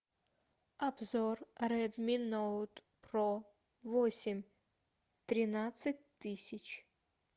обзор редми ноут про восемь тринадцать тысяч